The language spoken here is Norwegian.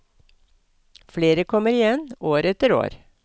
Flere kommer igjen, år etter år.